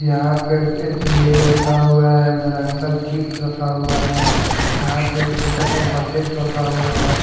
यहाँ पे एक लैस रखा हुआ है उधर अंकल चिप्स रखा हुआ है यहाँ पे छोटा सा बकेट रखा हुआ है।